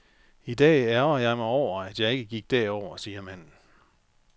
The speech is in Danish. I dag ærgrer jeg mig over, at jeg ikke gik derover, siger manden.